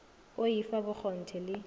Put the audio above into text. o i fa bokgonthe le